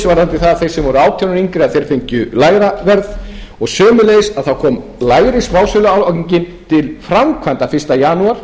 varðandi þá sem voru átján ára og yngri að þeir fengju lægra verð og sömuleiðis kom minni smásöluálagning til framkvæmda fyrsta janúar